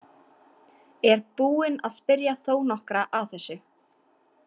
Er búin að spyrja þó nokkra að þessu.